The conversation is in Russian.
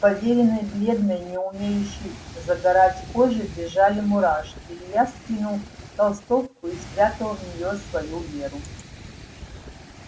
по вериной бледной не умеющей загорать коже бежали мурашки илья скинул толстовку и спрятал в нее свою веру